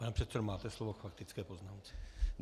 Pane předsedo, máte slovo k faktické poznámce.